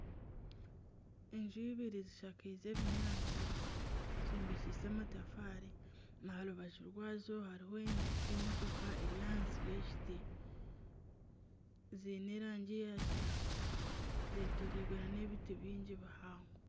Enju ibiri zishakiize ebinyaatsi zombekiise amatafaari. Aharubaju rwazo hariho emotoka eri ahansi y'ekiti. ziine erangi ya kitaka zetoreirwe nana ebiti bingi bihango.